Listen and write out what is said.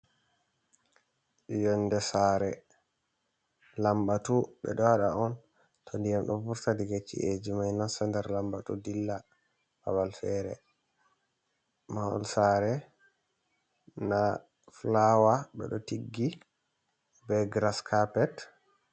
Yonde sare lambatu ɓeɗo waɗa on to diyam ɗo furta diga chi’j mai nata nder lambatu dilla babal fere, mahol sare nda flawa ɓeɗo tiggi be grascarpet.